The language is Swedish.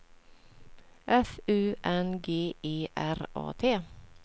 F U N G E R A T